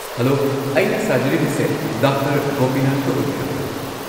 Hello, ꯑꯩꯅ ꯁꯥꯖꯔꯤꯕꯁꯦ doctor ꯒꯣꯄꯤꯅꯥꯊꯀ ꯑꯣꯏꯕꯤꯔꯕ꯭ꯔꯥ?